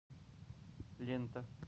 лента